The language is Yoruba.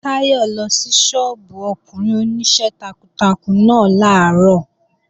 Táyọ̀ lọ sí sọ́ọ́bù ọkùnrin Oníṣẹ́ takuntakun náà làárọ̀